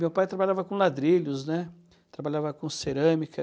Meu pai trabalhava com ladrilhos, né, trabalhava com cerâmica.